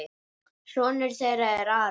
Sonur þeirra er Aron.